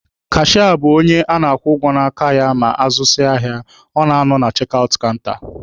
Kashịa bụ onye a na-akwụ ụgwọ n'aka ya ma azụzịa ahịa, ọ na-anọ na chek aụt kanta.